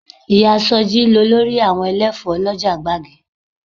Ìyá sọjí lolórí àwọn ẹlẹ́fọ̀ọ́ lọ́jà gbági